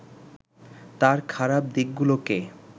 তার খারাপ দিকগুলোকে